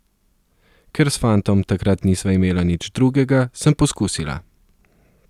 Ker s fantom takrat nisva imela nič drugega, sem poskusila.